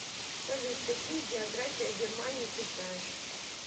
салют какие география германии ты знаешь